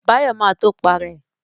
Báyọ̀ ma tó Para ẹ̀